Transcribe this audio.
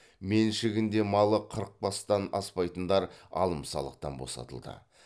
меншігінде малы қырық бастан аспайтындар алым салықтан босатылды